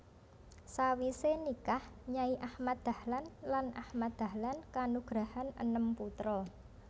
Sawise nikah Nyai Ahmad Dahlan lan Ahmad Dahlan kanugrahan enem putra